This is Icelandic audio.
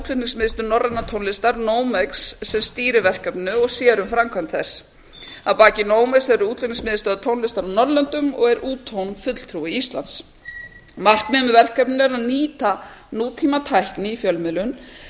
er útflutningsmiðstöð norrænnar tónlistar nomex sem stýrir verkefninu og sér um framkvæmd þess að baki nomex eru útflutningsmiðstöðvar tónlistar á norðurlöndum og er stop fulltrúi íslands markmið með verkefninu er að nýta nútímatækni í fjölmiðlum